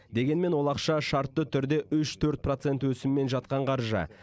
дегенмен ол ақша шартты түрде үш төрт процент өсіммен жатқан қаржы